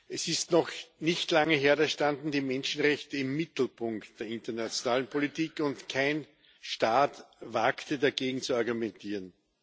Es ist noch nicht lange her, da standen die Menschenrechte im Mittelpunkt der internationalen Politik, und kein Staat wagte, dagegen zu argumentieren.